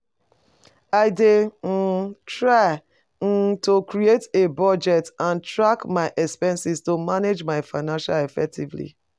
I dey um try um to create a budget and track my expenses to manage my finances effectively.